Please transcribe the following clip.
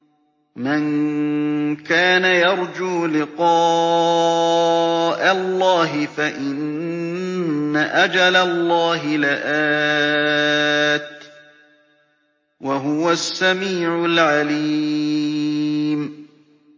مَن كَانَ يَرْجُو لِقَاءَ اللَّهِ فَإِنَّ أَجَلَ اللَّهِ لَآتٍ ۚ وَهُوَ السَّمِيعُ الْعَلِيمُ